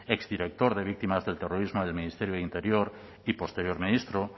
exdirector de víctimas del terrorismo del ministerio de interior y posterior ministro